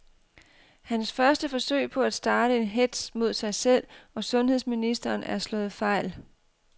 Hans første forsøg på at starte en hetz mod sig selv og sundheds ministeren er slået fejl.